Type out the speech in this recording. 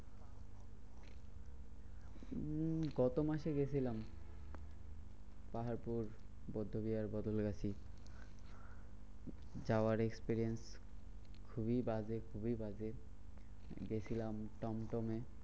উম গত মাসে গেছিলাম। পাহাড়পুর যাওয়ার experience খুবই বাজে খুবই বাজে গেছিলাম টনটনে